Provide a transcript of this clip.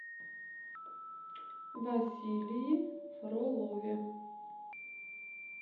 василии фролове